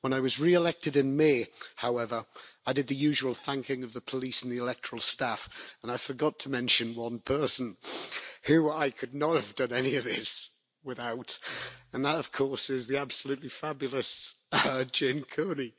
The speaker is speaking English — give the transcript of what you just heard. When I was re elected in May, however, I did the usual thanking of the police and the electoral staff and I forgot to mention one person who I could not have done any of this without and that of course is the absolutely fabulous Jane Coney.